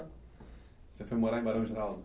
Você foi morar em Barão Geraldo?